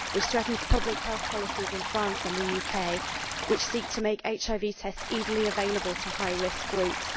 This threatens public health policies in France and the UK which seek to make HIV tests easily available to high risk groups.